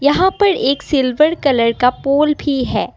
यहाँ पर एक सिल्वर कलर का पोल भी है।